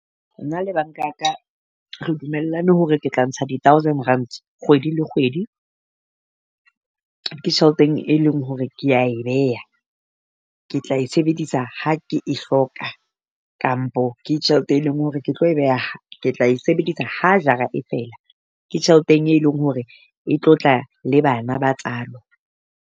Na le bank-a ya ka re dumellane hore ke tla ntsha di-thousand rand kgwedi le kgwedi. Ke tjheleteng e leng hore kea e beha ke tla e sebedisa ha ke e hloka kampo ke tjhelete e leng hore ke tlo e beha ke tla e sebedisa ha jara e fela, ke tjheleteng e leng hore e tlo tla le bana ba tsalo.